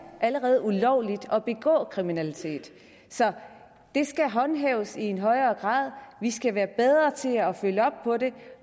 allerede ulovligt at begå kriminalitet så det skal håndhæves i i højere grad vi skal være bedre til at følge op på det